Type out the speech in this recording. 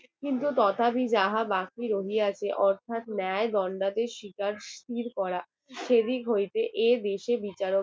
কিন্তু তথাপি যাহা বাকি রইয়াছে অর্থাৎ ন্যায় এর শিকার স্থির করা সেদিক হইতে এর বেশি বিচারকদের